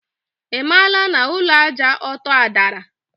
Imaala na Ulọ Àjà Ọtọ adara?